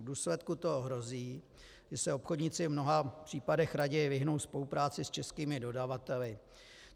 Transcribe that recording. V důsledku toho hrozí, že se obchodníci v mnoha případech raději vyhnou spolupráci s českými dodavateli.